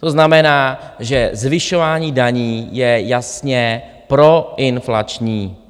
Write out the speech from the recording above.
To znamená, že zvyšování daní je jasně proinflační.